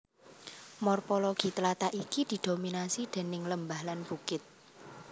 Morpologi tlatah iki didominasi déning lembah lan bukit